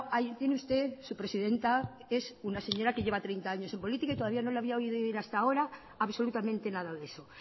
ahí tiene usted a su presidenta que es una señora que lleva treinta años en política y todavía no la había oído hasta ahora absolutamente nada de eso